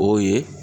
O ye